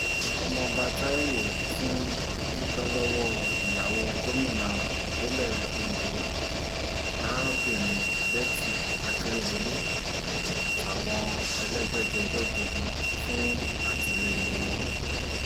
ọmọọba taiwo tún dúpẹ́ lọ́wọ́ ìyàwó gómìnà ìpínlẹ̀ ondo arábìnrin betty akeredolu àtàwọn elégbèjègbè gbogbo fún àtìlẹyìn wọn